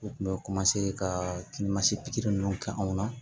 U kun bɛ ka ninnu kɛ anw na